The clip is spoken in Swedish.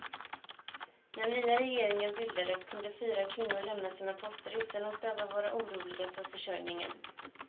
När nya regeringen bildades kunde fyra kvinnor lämna sina poster utan att behöva vara oroliga för försörjningen.